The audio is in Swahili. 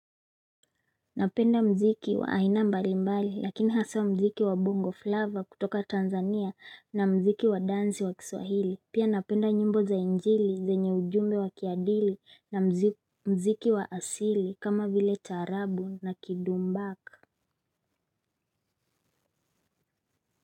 Napenda mziki wa aina mbali mbali lakini haswa mziki wa bongo flavor kutoka tanzania na mziki wa dansi wa kiswahili pia napenda nyimbo za injili zenye ujumbe wa kiadili na mziki wa asili kama vile taarabu na kidumbaka.